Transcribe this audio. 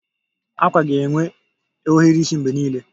Akwa ga-enwe ohiri isi mgbe niile